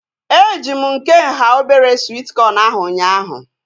Eji m nke nhá obere swit kọn ahu ụnyaahụ